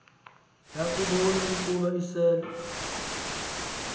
yakubon ukuba isel